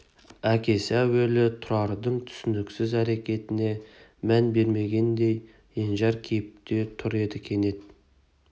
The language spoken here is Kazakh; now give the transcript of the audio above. әкесі әуелі тұрардың түсініксіз әрекетіне мән бермегендей енжар кейіпте тұр еді кенет